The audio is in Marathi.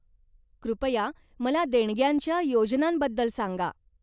कृपया मला देणग्यांच्या योजनांबद्दल सांगा.